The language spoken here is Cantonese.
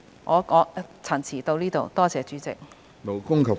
我謹此陳辭，多謝主席。